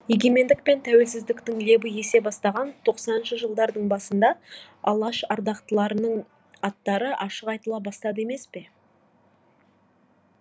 егемендік пен тәуелсіздіктің лебі есе бастаған тоқсаныншы жылдардың басында алаш ардақтыларының аттары ашық айтыла бастады емес пе